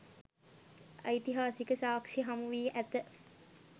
ඓතිහාසික සාක්‍ෂි හමුවී ඇත.